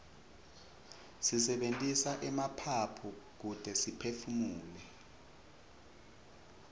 sisebentisa emaphaphu kute siphefumule